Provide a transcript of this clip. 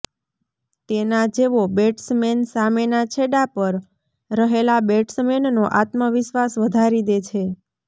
તેના જેવો બૅટ્સમૅન સામેના છેડા પર રહેલા બૅટ્સમૅનનો આત્મવિશ્વાસ વધારી દે છે